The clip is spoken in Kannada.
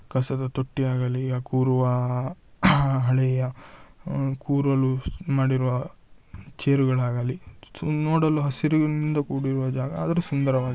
ಕಸದ ತೊಟ್ಟಿಯಾಗಲಿ ಕೂರುವ ಹಳೆಯ ಕೂರಲು ಮಾಡಿರುವ ಚೇರುಗಳಾಗಲಿ ನೋಡಲು ಹಸಿರಿನಿಂದ ಕೂಡಿರುವ ಜಾಗ ಆದರೂ ಸುಂದರವಾಗಿದೆ.